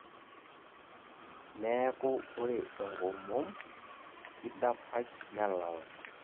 neeku ore enkomom kidapash nelala